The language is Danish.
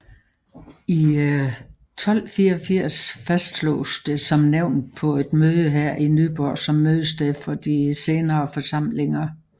I 1284 fastsloges som nævnt på et møde her Nyborg som mødested for de senere forsamlinger